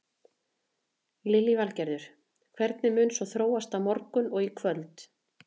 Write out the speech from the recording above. Lillý Valgerður: Hvernig mun svo þróast á morgun og í kvöld?